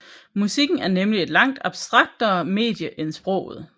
Musikken er nemlig et langt abstraktere medie end sproget